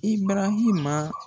I barahima